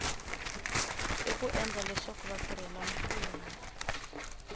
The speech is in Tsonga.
i ku endla leswaku vatirhelamfumo